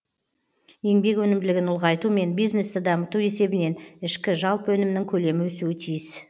еңбек өнімділігін ұлғайту мен бизнесті дамыту есебінен ішкі жалпы өнімнің көлемі өсуі тиіс